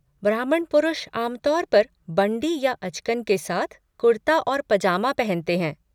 ब्राह्मण पुरुष आम तौर पर बंड़ी या अचकन के साथ कुर्ता और पजामा पहनते हैं।